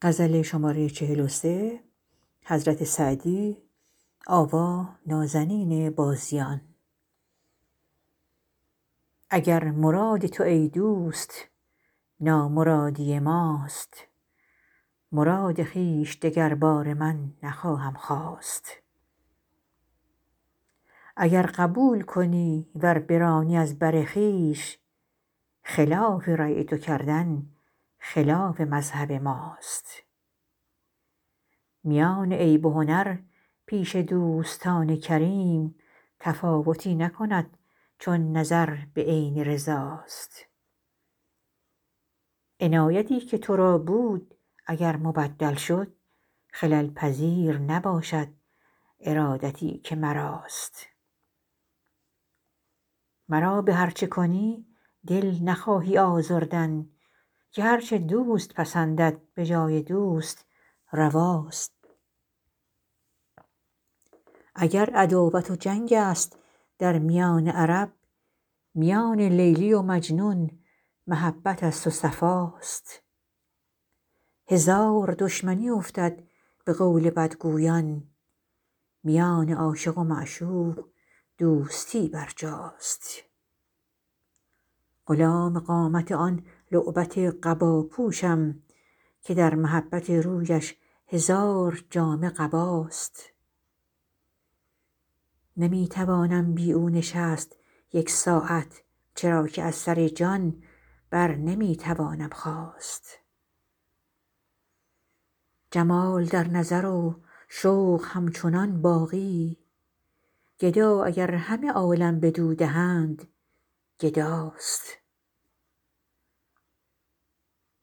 اگر مراد تو ای دوست بی مرادی ماست مراد خویش دگرباره من نخواهم خواست اگر قبول کنی ور برانی از بر خویش خلاف رای تو کردن خلاف مذهب ماست میان عیب و هنر پیش دوستان کریم تفاوتی نکند چون نظر به عین رضا ست عنایتی که تو را بود اگر مبدل شد خلل پذیر نباشد ارادتی که مراست مرا به هر چه کنی دل نخواهی آزردن که هر چه دوست پسندد به جای دوست روا ست اگر عداوت و جنگ است در میان عرب میان لیلی و مجنون محبت است و صفا ست هزار دشمنی افتد به قول بدگویان میان عاشق و معشوق دوستی برجاست غلام قامت آن لعبت قبا پوشم که در محبت رویش هزار جامه قباست نمی توانم بی او نشست یک ساعت چرا که از سر جان بر نمی توانم خاست جمال در نظر و شوق همچنان باقی گدا اگر همه عالم بدو دهند گدا ست